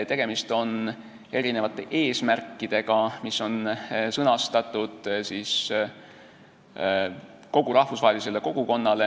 Tegemist on erinevate eesmärkidega, mis on sõnastatud kogu rahvusvahelisele kogukonnale.